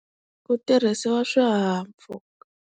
Ku tirhisiwa swihahampfhuka.